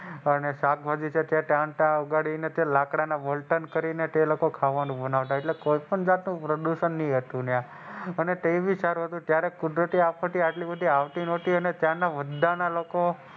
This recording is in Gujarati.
અને શાકભાજી ઉગાડીને લાકડા નો બળતણ કરીને ખાવાનું બનાવતા અને કોઈ જાતનું પ્રદુષણ નહોતું અને તેઓમે ચાર રીતે આટલી બધી આવતી નાતી અને આના લોકો,